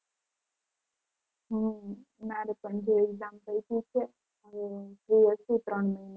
હમ મારે પણ જો exam પતી છે હવે હું free જ છું ત્રણ મહિના.